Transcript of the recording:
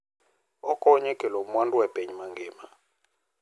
Okonyo e kelo mwandu e piny mangima.